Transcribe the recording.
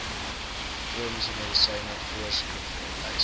chroniese medisyne voorskriflys